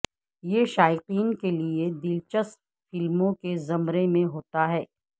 یہ شائقین کے لئے دلچسپ فلموں کے زمرے میں ہوتا ہے